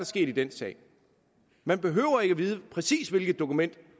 sket i den sag man behøver ikke at vide præcis hvilket dokument